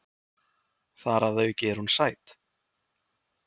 Þar að auki er hún sæt.